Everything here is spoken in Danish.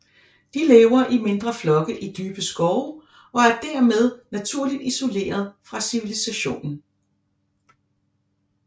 De lever i mindre flokke i dybe skove og er dermed naturligt isolerede fra civilisationen